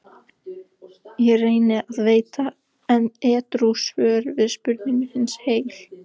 Ég reyni að veita edrú svör við spurningum hins heil